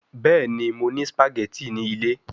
Bẹẹni, Mo ni spaghetti ni ile